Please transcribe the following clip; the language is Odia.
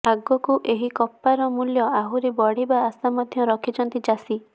ଆଗକୁ ଏହି କପାର ମୂଲ୍ୟ ଆହୁରି ବଢିବା ଆଶା ମଧ୍ୟ ରଖିଛନ୍ତି ଚାଷୀ